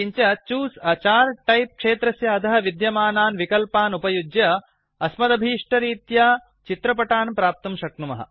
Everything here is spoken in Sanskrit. किञ्च चूसे a चार्ट् टाइप क्षेत्रस्य अधः विद्यमानान् विकल्पान् उपयुज्य अस्मदभीष्टरीत्या चित्रपटान् प्राप्तुं शक्नुमः